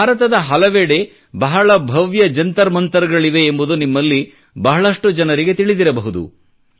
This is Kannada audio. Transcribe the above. ಭಾರತದ ಹಲವೆವಡೆ ಬಹಳ ಭವ್ಯ ಜಂತರ್ಮಂತರ್ಗಳಿವೆ ಎಂಬುದು ನಿಮ್ಮಲ್ಲಿ ಬಹಳಷ್ಟು ಜನರಿಗೆ ತಿಳಿದಿರಬಹುದು